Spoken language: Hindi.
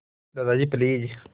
दादाजी प्लीज़